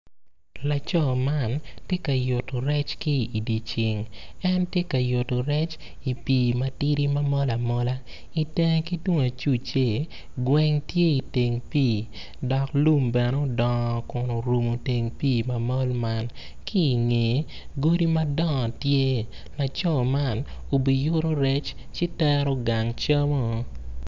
Laco man tye ka yuto rec ki idye ceng en tye ka yuto rec i pii matidi ma mol amola itenge ki tung acuce gweng tye iteng pii dok lum bene odongo kun orumu teng pii ma mol man ki ingeye godi madongo tye laco man obiyuto rec ci tero gang camo-o